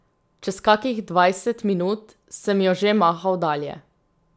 Čez kakih dvajset minut sem jo že mahal dalje.